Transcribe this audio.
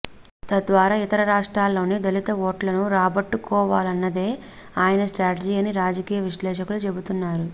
తద్వారా ఇతర రాష్ట్రాల్లోని దళిత ఓట్లను రాబట్టుకోవాలన్నదే ఆయన స్ట్రాటజీ అని రాజకీయ విశ్లేషకులు చెబుతున్నారు